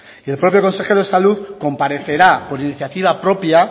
y el propio consejero de salud comparecerá por iniciativa propia